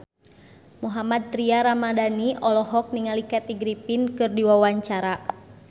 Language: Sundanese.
Mohammad Tria Ramadhani olohok ningali Kathy Griffin keur diwawancara